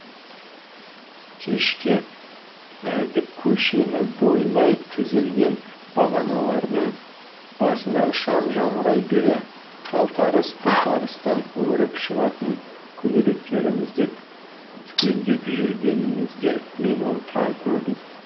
кешке әйдік көшені бойлай тізілген бағаналардың басындағы шам жамырай бере қалтарыс бұлтарыстан өріп шығатын көбелектерімізді түгендеп жүргенімізде мен оны тағы көрдім